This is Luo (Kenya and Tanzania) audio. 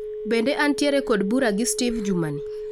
Bende antiere kod bura gi S teve jumani